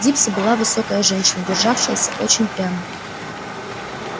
дипси была высокая женщина державшаяся очень прямо